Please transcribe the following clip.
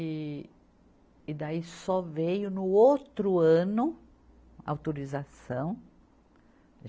E, e daí só veio no outro ano autorização.